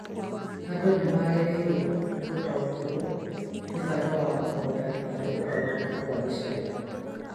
Andũ nĩ magĩrĩirwo nĩ gũtaũkĩrũo nĩ bata wa mũgũnda harĩ ũgarũrũku wa gĩcagi